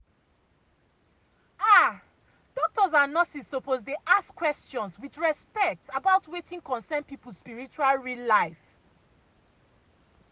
ah doctors and nurses suppose dey ask questions with respect about wetin concern people spiritual real life.